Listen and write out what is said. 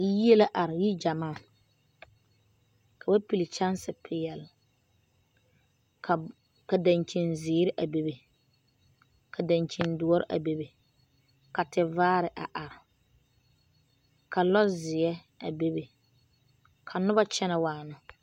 Yie la are yigyamaa ka ba piili kyansepeɛle ka ka dankyinzeere a bebe ka dankyindoɔre a bebe ka tevaare a are ka lɔzeɛ a bebe ka noba kyɛnɛ waana.